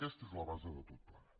aquesta és la base de tot plegat